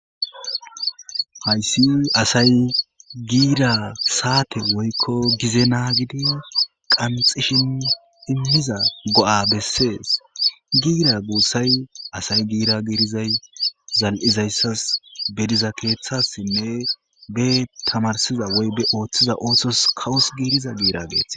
Hayssi asay giira saate woykko gize naagidi qanxishin immiza go'a bessees giira guussay asay giira giirizay zal'izayssas be diza keeththassinne be tamarsiza woybe ooththiza oothtos kawus giiriza giira geeth.